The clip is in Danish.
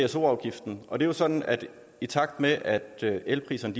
pso afgiften og det er jo sådan at i takt med at elpriserne